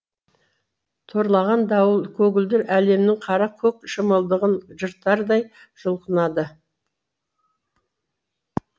торлаған дауыл көгілдір әлемнің қара көк шымылдығын жыртардай жұлқынады